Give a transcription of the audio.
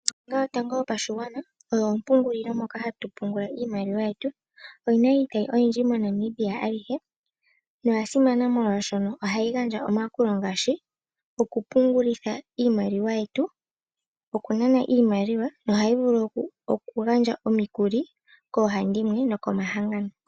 Ombaanga yotango yopashigwana oyo ompungulilo moka hatu pungula iimaliwa yetu. Oyina iitayi oyindji MoNamibia alihe. Oya simana molwaashono ohayi gandja omayakulo ngaashi okupungulitha iimaliwa yetu , okunana iimaliwa yetu